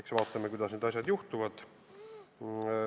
Eks vaatame, kuidas need asjad juhtuvad.